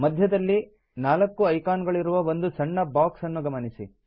ಮಧ್ಯದಲ್ಲಿ 4 ಐಕಾನ್ ಗಳಿರುವ ಒಂದು ಸಣ್ಣ ಬಾಕ್ಸ್ ಅನ್ನು ಗಮನಿಸಿ